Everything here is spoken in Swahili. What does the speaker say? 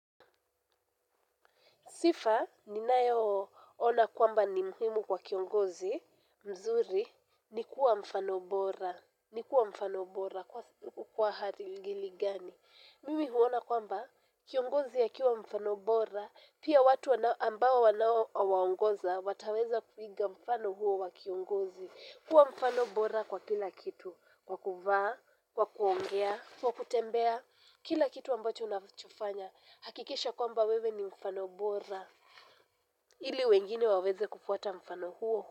Sifa, ninayoona kwamba ni muhimu kwa kiongozi, mzuri, ni kuwa mfano bora, ni kuwa mfano bora kwa ajili gani. Mimi huona kwamba, kiongozi ya akiwa mfano bora, pia watu ambao wanaowaongoza, wataweza kuiga mfano huo wa kiongozi. Kuwa mfano bora kwa kila kitu, kwa kuvaa, kwa kuongea, kwa kutembea, kila kitu ambacho unachofanya. Hakikisha kwamba wewe ni mfano bora. Ili wengine waweze kufuata mfano huo.